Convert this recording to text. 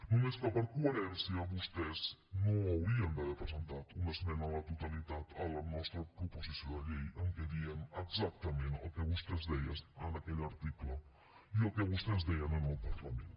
només que per coherència vostès no haurien d’haver presentat una esmena a la totalitat a la nostra proposició de llei en què diem exactament el que vostès deien en aquell article i el que vostès deien en el parlament